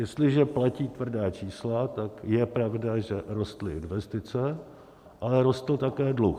Jestliže platí tvrdá čísla, tak je pravda, že rostly investice, ale rostl také dluh.